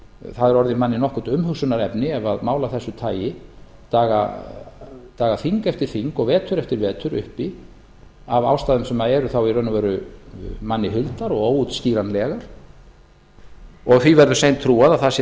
það er orðið manni nokkurt umhugsunarefni ef mál af þessu daga þing eftir þing og vetur eftir vetur uppi af ástæðum sem eru þá í raun og veru manni huldar og óútskýranlegar og því verður seint trúað að það sé